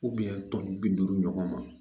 tɔn bi duuru ɲɔgɔn ma